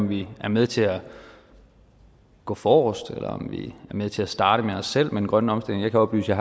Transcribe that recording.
vi er med til at gå forrest eller om vi er med til at starte med os selv med den grønne omstilling jeg kan oplyse at